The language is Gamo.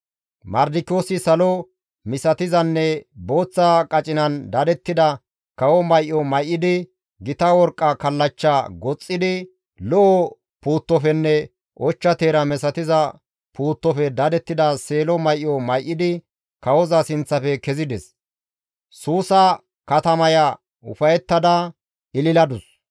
Mardikiyoosi salo misatizanne booththa qacinan dadettida kawo may7o may7idi, gita worqqa kallachcha goxxidi, lo7o puuttofenne ochcha teera misatiza puuttofe dadettida seelo may7o may7idi kawoza sinththafe kezides. Suusa katamaya ufayettada ililadus.